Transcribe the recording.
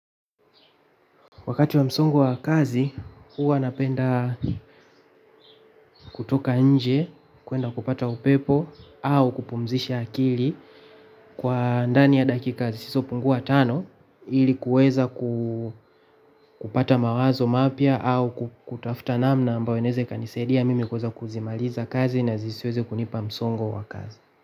Wakati wa msongo wa kazi huwa napenda kutoka nje kuenda kupata upepo au kupumzisha akili kwa ndani ya dakika zisizo pungua tano ili kuweza ku kupata mawazo mapya au kutafuta namna ambayo inaeza ikanisaidia mimi kuweza kuzimaliza kazi na zisiweze kunipa msongo wa kazi.